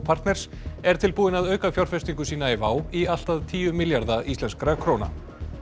partners er tilbúinn að auka fjárfestingu sína í WOW í allt að tíu milljarða íslenskra króna